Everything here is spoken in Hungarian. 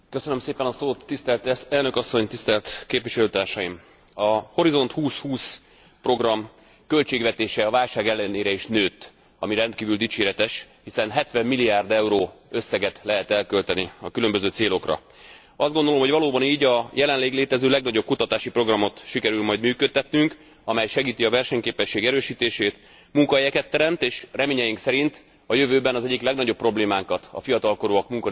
A Horizont 2020 program költségvetése a válság ellenére is nőtt, ami rendkívül dicséretes, hiszen 70 milliárd euró összeget lehet elkölteni a különböző célokra. Azt gondolom, hogy valóban így a jelenleg létező legnagyobb kutatási programot sikerül majd működtetnünk, amely segíti a versenyképesség erősítését, munkahelyeket teremt, és reményeink szerint a jövőben az egyik legnagyobb problémánkat, a fiatalok munkanélküliségének problémakörét is segít megoldani.